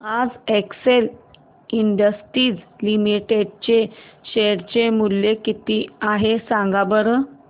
आज Excel Industries Limited चे share चे मूल्य किती आहे सांगा बरं